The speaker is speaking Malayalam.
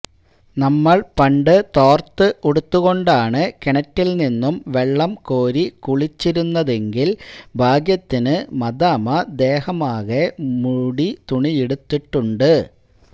നമ്മൾ പണ്ട് തോർത്ത് ഉടുത്തുകൊണ്ടാണ് കിണറ്റിൽ നിന്നു വെള്ളം കോരി കുളിച്ചിരുന്നതെങ്കിൽ ഭാഗ്യത്തിന് മദാമ്മ ദേഹമാകെ മൂടി തുണിയുടുത്തിട്ടുണ്ട്